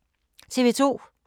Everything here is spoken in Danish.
TV 2